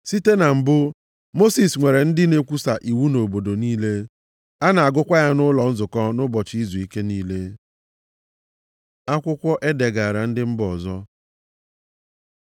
Site na mbụ, Mosis nwere ndị na-ekwusa iwu nʼobodo niile. A na-agụkwa ya nʼụlọ nzukọ nʼụbọchị izuike niile.” Akwụkwọ e degaara ndị mba ọzọ